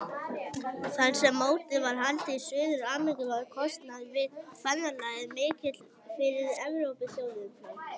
Þar sem mótið var haldið í Suður-Ameríku var kostnaður við ferðalagið mikill fyrir Evrópuþjóðirnar.